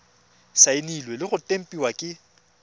saenilwe le go tempiwa ke